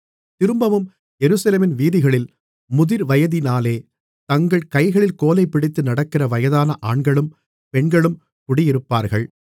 திரும்பவும் எருசலேமின் வீதிகளில் முதிர்வயதினாலே தங்கள் கைகளில் கோலைப்பிடித்து நடக்கிற வயதான ஆண்களும் பெண்களும் குடியிருப்பார்கள்